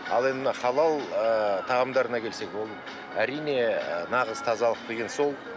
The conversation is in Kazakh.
ал енді мына халал ыыы тағамдарына келсек ол әрине ы нағыз тазалық деген сол